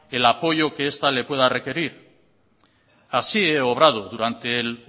el apoyo que esta le pueda requerir así he obrado durante el